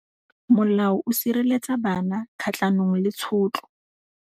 Molao o sireletsa bana kgatlhanong le tshotlo.